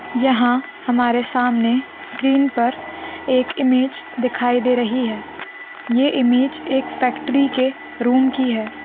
यहाँ हमारे सामने स्क्रीन पर एक इमेज दिखाई दे रही है| ये इमेज एक फैक्ट्री के रूम की है।